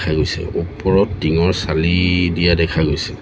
গৈছে ওপৰত টিঙৰ ছালি দিয়া দেখা গৈছে।